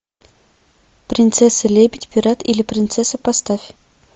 принцесса лебедь пират или принцесса поставь